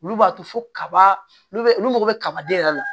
Olu b'a to fo kaba olu mago be kaba de yɛrɛ la